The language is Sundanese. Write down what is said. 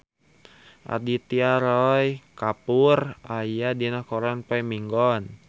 Aditya Roy Kapoor aya dina koran poe Minggon